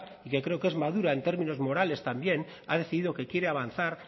y que creo que es madura en términos morales también ha decidido que quiere avanzar